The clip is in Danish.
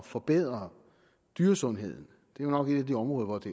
forbedre dyresundheden det er nok et af de områder hvor det